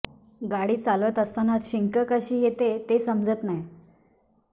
गाडी चालवत असतानाच शिंक कशी येते ते समजत नै